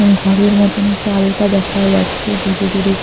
ঘরের মতন চালটা দেখা যাচ্ছে দূরে দূরে কি--